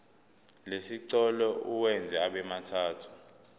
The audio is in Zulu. lesicelo uwenze abemathathu